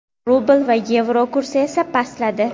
rubl va yevro kursi esa pastladi.